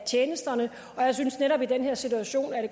tjenesterne og jeg synes netop i den her situation at